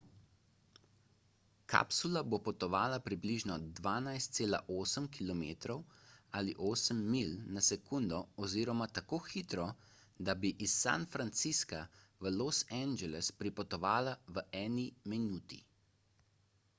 kapsula bo potovala približno 12,8 km ali 8 milj na sekundo oziroma tako hitro da bi iz san francisca v los angeles pripotovala v eni minuti